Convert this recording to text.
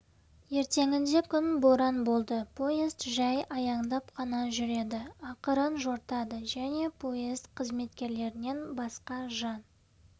ертеңінде күн боран болды поезд жай аяңдап қана жүреді ақырын жортады және поезд қызметкерлерінен басқа жан